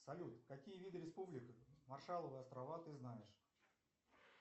салют какие виды республик маршалловы острова ты знаешь